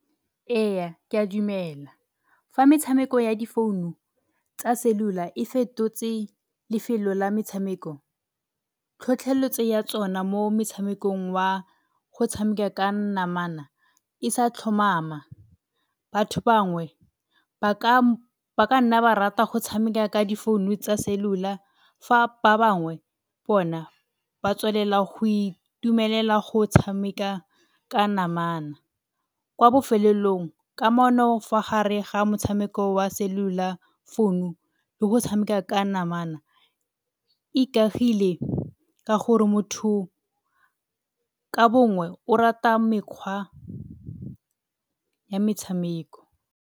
Eya, ke a dumela. Fa metshameko ya difounu tsa selula e fetotse lefelo la metshameko, tlhotlheletso ya tsona mo metshamekong wa go tshameka ka namana e sa tlhomama. Batho bangwe ba ka ba ka nna ba rata go tshameka ka difounu tsa selula fa ba bangwe bona ba tswelela go itumelela go tshameka ka namana, kwa bofelelong ka mono fa gare ga motshameko wa selula founu le go tshameka ka namana ikagile ka gore motho ka bongwe o rata mekgwa ya metshameko.